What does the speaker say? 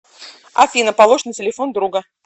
афина положь на телефон друга